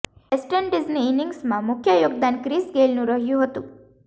waste ઇન્ડિઝની ઇનિંગ્સમાં મુખ્ય યોગદાન ક્રિસ ગેઇલનું રહ્યું હતું